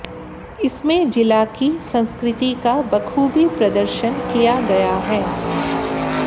इसमें जिला की संस्कृति का बखूबी प्रदर्शन किया गया है